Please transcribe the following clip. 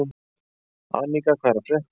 Anika, hvað er að frétta?